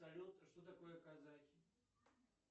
салют что такое казахи